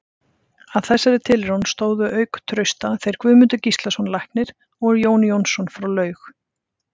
Að þessari tilraun stóðu auk Trausta þeir Guðmundur Gíslason læknir og Jón Jónsson frá Laug.